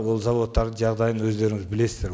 ол зауыттардың жағдайын өздеріңіз білесіздер